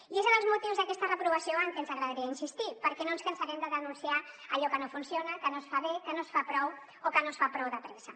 i és en els motius d’aquesta reprovació en el que ens agradaria insistir perquè no ens cansarem de denunciar allò que no funciona que no es fa bé que no es fa prou o que no es fa prou de pressa